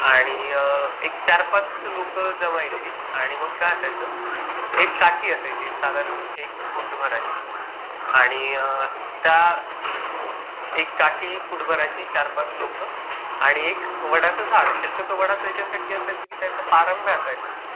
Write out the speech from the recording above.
आणि अ एक चार पाच लोक जमायची, आणि मग काय असायचं, एक काठी असायची साधारण एक फूट भराची आणि त्या एक काठी फूट भराची चार पाच लोक आणि एक वडाच झाड शक्यतो वाडच ह्याच्यासाठी असायचं की त्याच्या पारंब्या असायच्या ना ,